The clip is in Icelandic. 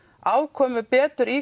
afkomu betur í